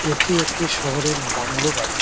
এটি একটি শহরের বাংলো বাড়ি।